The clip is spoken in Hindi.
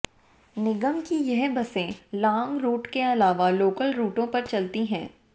निगम की यह बसें लांग रूट के अलावा लोकल रूटों पर चलती हैं